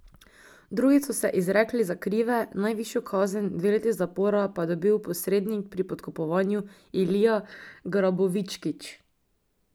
Drugi so se izrekli za krive, najvišjo kazen, dve leti zapora, pa je dobil posrednik pri podkupovanju Ilija Grabovičkić.